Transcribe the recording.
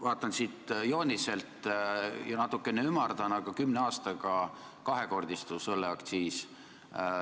Vaatan seda joonist ja natuke ümardan, aga kümne aastaga õlleaktsiis kahekordistus.